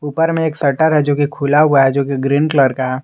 उपर में एक शटर है जो कि खुला हुआ है जो कि ग्रीन कलर का है।